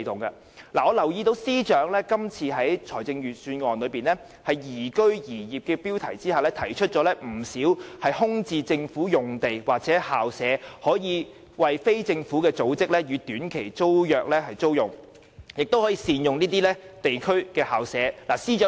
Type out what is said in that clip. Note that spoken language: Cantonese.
我留意到司長今次在預算案中"宜居宜業"的標題下，提出不少空置政府用地或校舍供非政府組織以短期租約形式租用，亦建議善用地區校舍。